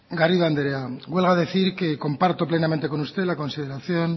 garrido anderea huelga decir que comparto plenamente con usted la consideración